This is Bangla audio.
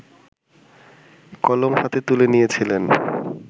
কলম হাতে তুলে নিয়েছিলেন